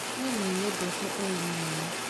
Nĩ nĩnyendete ũrĩmi mũno